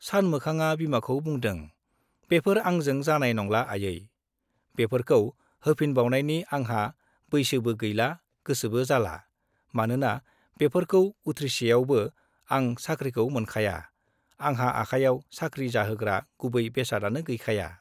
सानमोखांआ बिमाखौ बुंदों - बेफोर आंजों जानाय नंला आयै, बेफोरखौ होफिनबावनाइनि आंहा बैसोबो गैला, गोसोबो जाला, मानोना बेफोरखौ उथ्रिसेयावबो आं साख्रिखौ मोनखाया, आंहा आखायाव साख्रि जाहोग्रा गुबै बेसादआनो गैखाया।